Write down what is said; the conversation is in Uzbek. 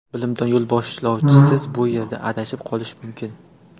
Bilimdon yo‘lboshlovchisiz bu yerda adashib qolish mumkin.